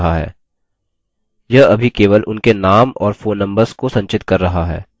यह अभी केवल उनके names और phone numbers को संचित कर रहा है